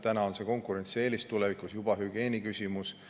Täna on see konkurentsieelis, tulevikus juba hügieeni küsimus.